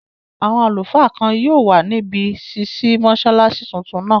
Àwọn àlùfáà kan yóò wà níbi ṣísí mọ́sálásí tuntun náà